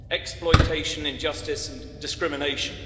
exploitation, injustice and discrimination.